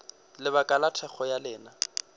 lebaka la thekgo ya lena